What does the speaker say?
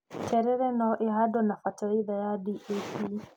Terere no ĩhandwo na bataraitha ya DAP.